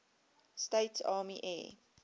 states army air